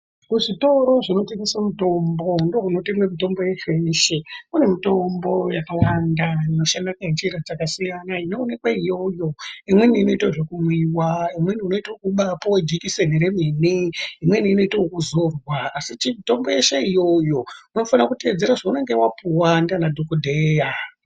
Kuzvitoro zvinotengesa mitombo ndokunotengwa mitombo yeshe yeshe kune mitombo yakawanda inoshanda nenjira dzakasiyana inoonekwa iyoyo . Imweni inoita zvekumwiwa imweni unoita kubapuwe dzekiseni remene imweni inoitwa yekuzorwa asi mitombo yese iyoyo unofanira kuteedzera zvaunenge wapuwa ndiana dhokodheya .